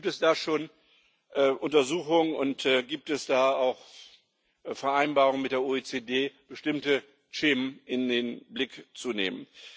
Gibt es da schon Untersuchungen und gibt es da auch Vereinbarungen mit der OECD, bestimmte Schemen in den Blick zu nehmen?